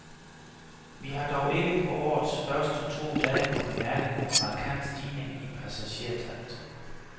Vi har dog ikke på årets første to dage kunnet mærke nogen markant stigning i passagertallet.